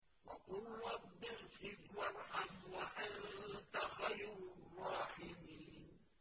وَقُل رَّبِّ اغْفِرْ وَارْحَمْ وَأَنتَ خَيْرُ الرَّاحِمِينَ